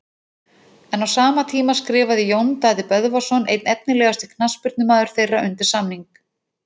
En á sama tíma skrifaði Jón Daði Böðvarsson einn efnilegasti knattspyrnumaður þeirra undir samning.